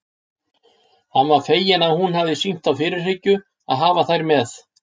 Hann var feginn að hún hafði sýnt þá fyrirhyggju að hafa þær með.